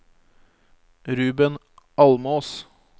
Ruben Almås